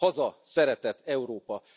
Haza, szeretet, Európa!